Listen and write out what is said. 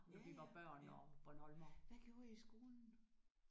Ja ja ja hvad gjorde I i skolen?